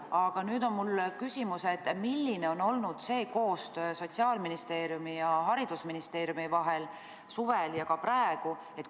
Aga mul on küsimus: milline on olnud koostöö Sotsiaalministeeriumi ning Haridus- ja Teadusministeeriumi vahel suvel ja ka praegu?